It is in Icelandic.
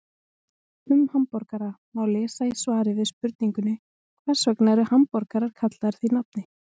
Um hamborgara má lesa í svari við spurningunni Hvers vegna eru hamborgarar kallaðir því nafni?